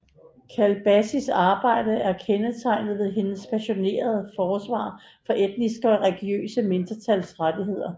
Kalbasis arbejde er kendetegnet ved hendes passionerede forsvar for etniske og religiøse mindretals rettigheder